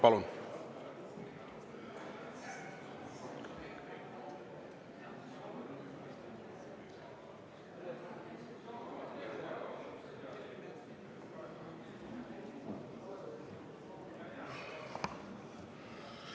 Palun!